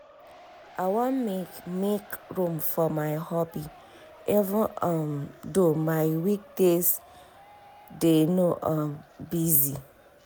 i wan make make room for my hobby even um though my week days dey um busy.